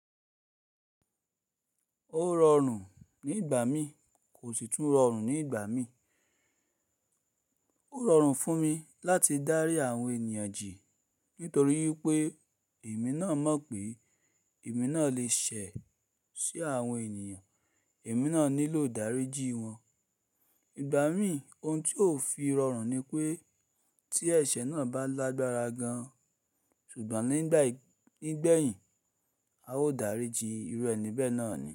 Ó rọrùn ní ìgbà mí kò sì tún rọrùn ní ìgbà mí. Ó rọrùn fún mi láti dárí àwọn ènìyàn jì nítorí pé èmi náà mọ̀ pé èmi náà lè ṣẹ̀ sí àwọn ènìyàn, èmi náà nílò ìdáríjì wọn. Ìgbà mí ohun tí ó fi rọrùn ni pé tí ẹ̀ṣẹ̀ náà bá lágbára gan, ṣùgbọ́n nígbà yìí, nígbẹ̀yìn a ó dáríjì irú ẹ̀ní bẹ́ẹ̀ náà ni.